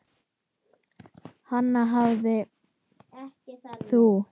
Hana hafðir þú.